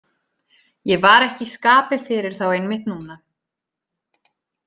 Ég var ekki í skapi fyrir þá einmitt núna.